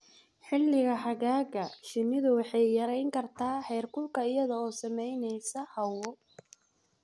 Xilliga xagaaga, shinnidu waxay yarayn kartaa heerkulka iyada oo samaynaysa hawo.